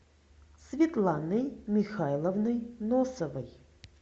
светланой михайловной носовой